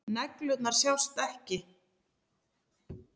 Neglurnar sjást ekki.